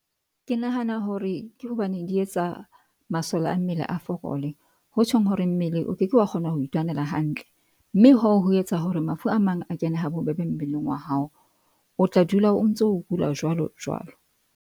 Ke nahana hore ke hobane di etsa masole a mmele a fokole. Ho tjhong hore mmele o keke wa kgona ho itwanela hantle. Mme hoo ho etsa hore mafu a mang a kene ha bobebe mmeleng wa hao, o tla dula o ntso o kula jwalo jwalo.